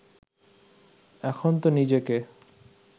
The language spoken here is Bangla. এখন তো নিজেকে